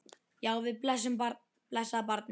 Já, við blessað barnið!